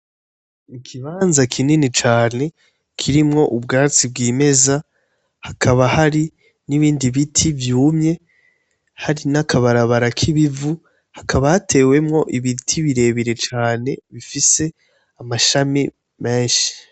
Ikibanza kinini cane kirimwo ubwatsi bwimeza. Hakaba hari n'ibindi biti vyumye, hari n'akabarabara k'ibivu, hakaba hatewemwo ibiti birebire cane bifise amashami menshi.